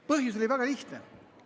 Põhjus oli väga lihtne.